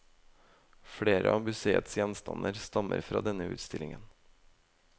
Flere av museets gjenstander stammer fra denne utstillingen.